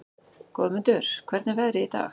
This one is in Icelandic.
Goðmundur, hvernig er veðrið í dag?